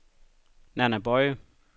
Nanna Boye